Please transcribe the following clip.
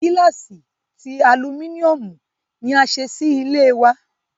Gílàsì ti Aluminiomu ni a ṣe sì ilé wa